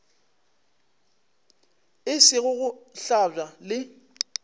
e sego go hlabja le